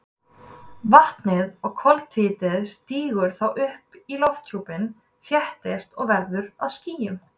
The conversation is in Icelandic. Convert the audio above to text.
Vatnið og koltvíildið stígur þá upp í lofthjúpinn, þéttist og verður að skýjum.